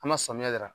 An ma samiya yira